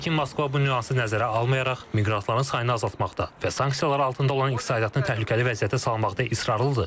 Lakin Moskva bu nüansı nəzərə almayaraq miqrantların sayını azaltmaqda və sanksiyalar altında olan iqtisadiyyatını təhlükəli vəziyyətə salmaqda israrlıdır.